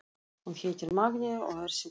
Hún heitir Magnea og er sjúkraliði.